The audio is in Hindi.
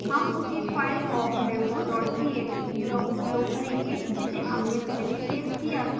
हम उसी फाइल awkdemo txt का उपयोग करेंगे जिसे हमने पहले सेव किया था